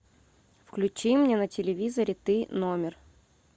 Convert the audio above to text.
включи мне на телевизоре ты номер